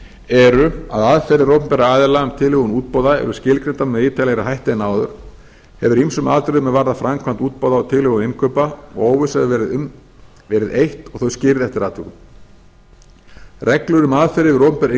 eru að aðferðir opinberra aðila um tilhögun útboða eru skilgreindar með ítarlegri hætti en áður hefur ýmsum atriðum er varða framkvæmd útboða og tilhögun innkaupa og óvissa hefur verið um verið eytt og þau skýrð eftir atvikum reglur um aðferðir við opinber innkaup